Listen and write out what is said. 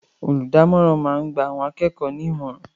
Olùdámọ̀ràn máa ń gba àwọn akẹ́kọ̀ọ́ ní ìmọ̀ràn